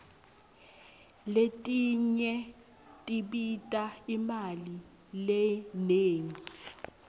letinye tibita imali lenengi